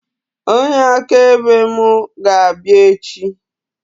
Onye akaebe mụ ga-abịa echi